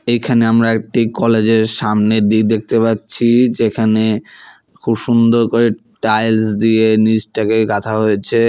এইখানে আমরা একটি কলেজ -এর সামনের দিক দেখতে পাচ্ছি যেখানে খুব সুন্দর করে টাইলস দিয়ে নীচটাকে গাঁথা হয়েছে।